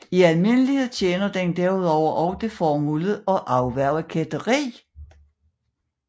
I almindelighed tjener den derudover også det formål at afværge kætteri